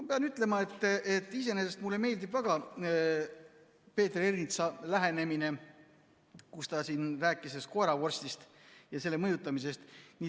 Ma pean ütlema, et iseenesest mulle meeldib väga Peeter Ernitsa lähenemine, kui ta siin rääkis koeravorstist ja sellega mõjutamisest.